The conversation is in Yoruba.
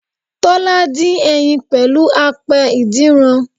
Tọ́lá dín ẹyin pẹ̀lú apẹ ìdínran